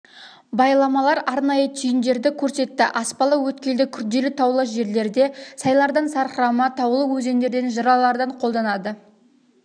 байламалар арнайы түйіндерді көрсетті аспалы өткелді күрделі таулы жерлерде сайлардан сарқырама таулы өзендерден жыралардын қолданады